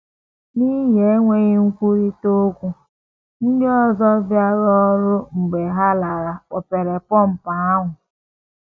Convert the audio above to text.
N’ihi enweghị nkwurịta okwu, ndị ọzọ bịara ọrụ mgbe ha lara kpọpere pọmpụ ahụ.